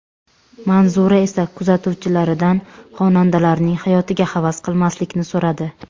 Manzura esa kuzatuvchilaridan xonandalarning hayotiga havas qilmaslikni so‘radi.